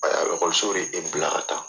lɔkɔliso de e bila ka taa.